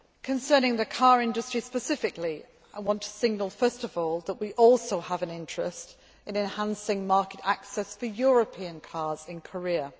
Concerning the car industry specifically, I want to signal first of all that we also have an interest in enhancing market access for European cars in Korea.